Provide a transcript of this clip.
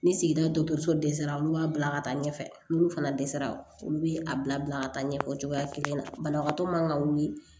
Ni sigida dɔgɔtɔrɔso dɛsɛra olu b'a bila ka taa ɲɛfɛ n'olu fana dɛsɛra olu bɛ a bila ka taa ɲɛfɛ cogoya kelen na banabagatɔ man ka wuli